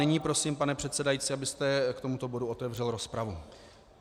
Nyní prosím, pane předsedající, abyste k tomuto bodu otevřel rozpravu.